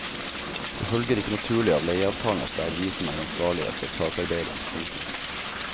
Det følger ikke naturlig av leieavtalen at det er vi som er ansvarlige for takarbeidet. punktum